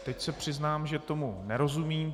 Teď se přiznám, že tomu nerozumím.